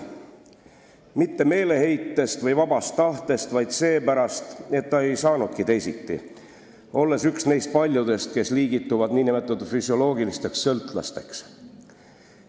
Ja ta ei joonud mitte meeleheitest või vabast tahtest, vaid seepärast, et ta ei saanudki teisiti, olles üks neist paljudest, kes liigituvad nn füsioloogiliseks sõltlaseks.